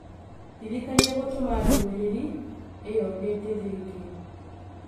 ndirikania gũtũma ndũmĩrĩri ĩyo hĩndĩ ĩngĩ